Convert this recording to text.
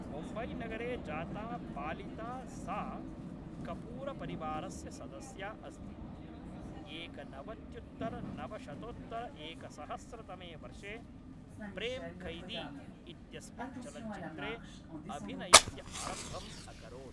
मुम्बैनगरे जाता पालिता सा कपूरपरिवारस्य सदस्या अस्ति, एकनवत्युत्तरनवशतोत्तरएकसहस्रतमे वर्षे प्रेम क़ैदी इत्यस्मिन् चलच्चित्रे अभिनयस्य आरम्भम् अकरोत्।